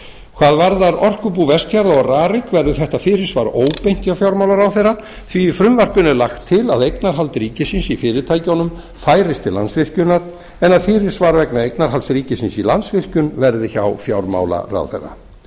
hvað varðar orkubú vestfjarða og rarik verður þetta fyrirsvar óbeint hjá fjármálaráðherra því í frumvarpinu er lagt til að eignarhald ríkisins í fyrirtækjunum færist til landsvirkjunar en að fyrirsvar vegna eignarhalds ríkisins í landsvirkjun verði hjá fjármálaráðherra